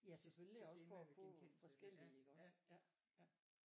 Ja selvfølgelig også for at få forskellige iggås ja ja